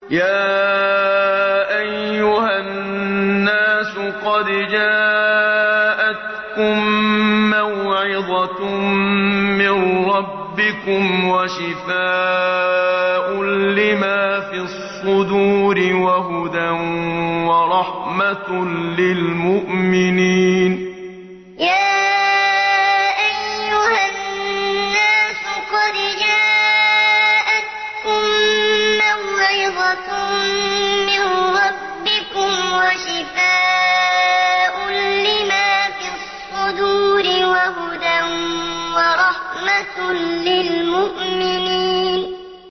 يَا أَيُّهَا النَّاسُ قَدْ جَاءَتْكُم مَّوْعِظَةٌ مِّن رَّبِّكُمْ وَشِفَاءٌ لِّمَا فِي الصُّدُورِ وَهُدًى وَرَحْمَةٌ لِّلْمُؤْمِنِينَ يَا أَيُّهَا النَّاسُ قَدْ جَاءَتْكُم مَّوْعِظَةٌ مِّن رَّبِّكُمْ وَشِفَاءٌ لِّمَا فِي الصُّدُورِ وَهُدًى وَرَحْمَةٌ لِّلْمُؤْمِنِينَ